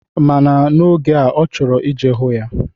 Mana n'oge a, ọ chọrọ ije hụ ya.